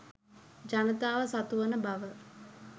ජනතාව සතුවන බව